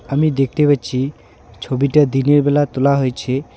আমি দেখতে পাচ্ছি ছবিটা দিনের বেলা তোলা হয়েছে।